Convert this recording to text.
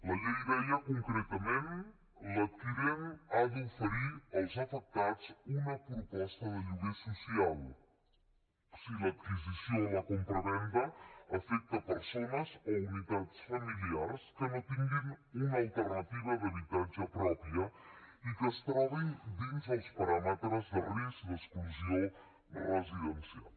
la llei deia concretament l’adquirent ha d’oferir als afectats una proposta de lloguer social si l’adquisició o la compravenda afecta persones o unitats familiars que no tinguin una alternativa d’habitatge pròpia i que es trobin dins els paràmetres de risc d’exclusió residencial